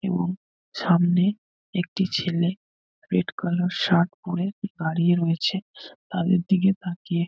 এবং সামনে একটি ছেলে রেড কালার শার্ট পরে দাঁড়িয়ে রয়েছে তাদের দিকে তাকিয়ে।